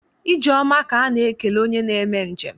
Ije oma ka a na-ekele onye na-eme njem.